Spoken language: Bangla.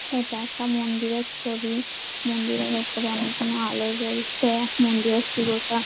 এটা একটা মন্দিরের ছবি মন্দিরের উপরে অনেকগুলো আলো জ্বলছে মন্দিরের চূড়াটা ।